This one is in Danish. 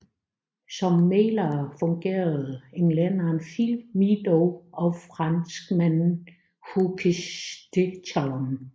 Som mæglere fungerede englænderen Philip Meadowe og franskmanden Hugues de Terlon